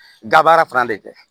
Gaba fana de kɛ